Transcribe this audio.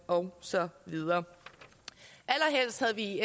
og så videre allerhelst havde vi i